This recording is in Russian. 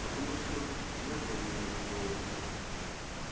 потому что нету у меня другого выхода